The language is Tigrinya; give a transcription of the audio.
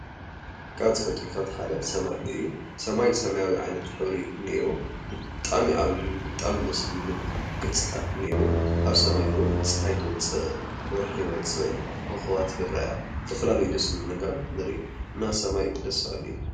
ካብ ተፈጥሮታት ሓደ ሰማይ እዩ። ሰማይ ሰማያዊ ሕብሪ እንኤዎ። ብጣዕሚ እዩ ዓብዪን ብጣዕሚ ደስ ዝብልን ገፅታ እንኤዎ። አብ ሰማይ እዉን ፀሓይ ትወፅእ። ወርሒ ይወፅእ። ኮኾባት ይርኣያ። ዝተፈላለዩ ደስ ኣብሉ ነገራት ንርኢ። እና ሰማይ ደስ በሃሊ እዩ።